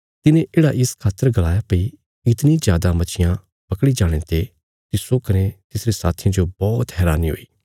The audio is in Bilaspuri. तिने येढ़ा इस खातर गलाया भई इतणी जादा मच्छियां पकड़ी जाणे ते तिस्सो कने तिसरे साथियां जो बौहत हैरानी हुई